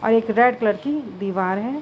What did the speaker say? और एक red colour की दीवार है।